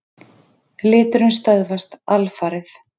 Liturinn stöðvast alfarið.